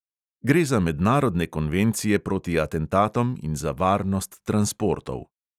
Gre za mednarodne konvencije proti atentatom in za varnost transportov.